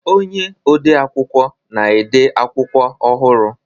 Onye ode akwụkwọ na-ede akwụkwọ ọhụrụ.